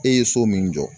E ye so min jɔ